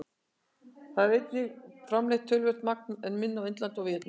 Í Kína er einnig framleitt töluvert magn, en minna á Indlandi og í Víetnam.